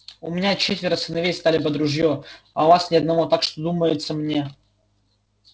у меня четверо сыновей стали под ружье а у вас ни одного так что думается мне